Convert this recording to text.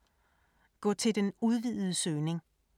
Gå til den udvidede søgning